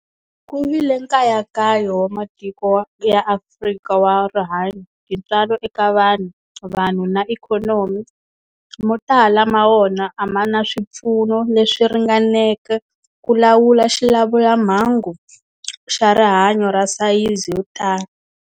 Ku vile nkayakayo wa matiko wa ya Afrika wa rihanyo, tintswalo eka vanhu, vanhu na ikhonomi, mo tala ma wona a ma na swipfuno leswi ringaneleke ku lawula xilamulelamhangu xa rihanyo xa sayizi yo tani.